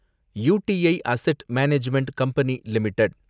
U T I asset management company limited